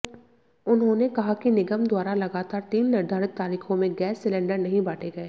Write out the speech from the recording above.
उन्होंने कहा कि निगम द्वारा लगातार तीन निर्धारित तारीखों में गैस सिलेंडर नहीं बांटे गए